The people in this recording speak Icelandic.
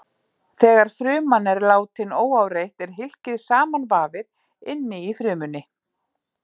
Þegar fruman er látin óáreitt er hylkið samanvafið inni í frumunni.